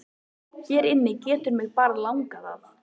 Hér inni getur mig bara langað að.